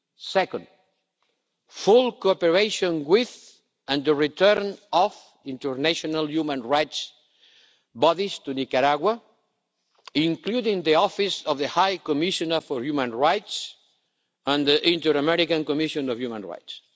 Second, full cooperation with and the return of international human rights bodies to Nicaragua, including the Office of the High Commissioner for Human Rights and the Inter American Commission on Human Rights.